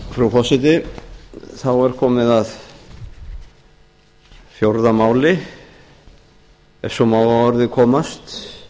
frú forseti þá er komið að fjórða máli ef svo má að orði komast